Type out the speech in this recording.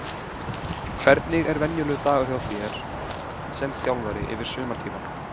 Hvernig er venjulegur dagur hjá þér sem þjálfara yfir sumartímann?